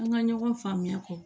An ka ɲɔgɔn faamuya kɔ